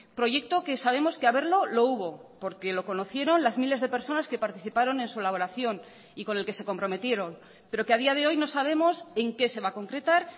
proyecto que sabemos que haberlo lo hubo porque lo conocieron las miles de personas que participaron en su elaboración y con el que se comprometieron pero que a día de hoy no sabemos en qué se va a concretar